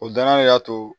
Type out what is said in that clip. O danaya de y'a to